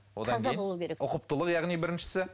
одан кейін ұқыптылық яғни біріншісі